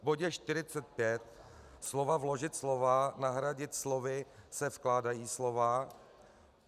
V bodě 45 slova "vložit slova" nahradit slovy "se vkládají slova".